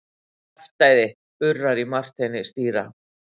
Kjaftæði urrar í Marteini stýra.